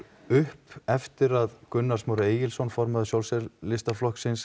upp eftir að Gunnar Smári Egilsson formaður